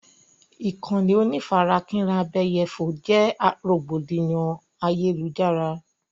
Ìkànnì onífarakínra abẹ́yẹfò jẹ́ rògbòdìyàn ayélujára.